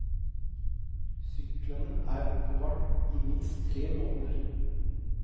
Syklene er oppbevart i minst tre måneder.